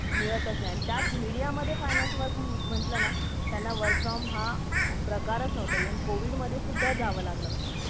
तर मिळतच नाही तसे media मदे finance work म्हटलं ते त्यांना work from home प्रकारच नव्हता even covid मधे पण जावा लागला .